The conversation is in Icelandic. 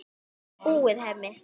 Þetta er búið, Hemmi.